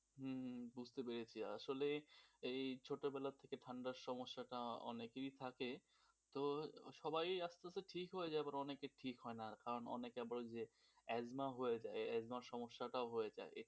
হম বুঝতে পেরেছি আসলে এই ছোটবেলা থেকে ঠান্ডার সমস্যাটা অনেকেরই থাকে তো সবাই আস্তে আস্তে ঠিক হয়ে যায়, অনেকে ঠিক হয় না, অনেকের আবার অ্যাজমা হয়ে যায়, অ্যাজমার সমস্যাটাও হয়ে থাকে.